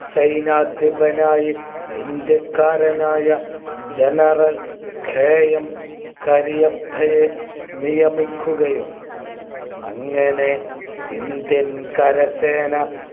സൈന്യാധിപനായി ഇന്ത്യക്കാരനായ GeneralKM കരിയപ്പയെ നിയമിക്കുകയും അങ്ങനെ indian കരസേന